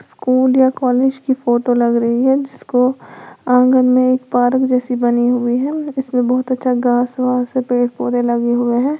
School या college की photo लग रही है जिसको आंगन में एक पार्क जैसी बनी हुई है इसमें बहुत अच्छा घास वास पेड़ पौधे लगे हुए हैं।